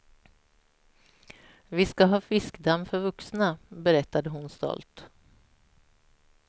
Vi ska ha fiskdamm för vuxna, berättade hon stolt.